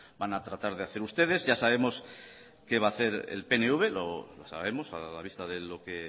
van a tratar de hacer ustedes ya sabemos lo que va a hacer el pnv lo sabemos a la vista de lo que